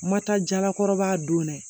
Ma taa jalakɔrɔbaa don dɛ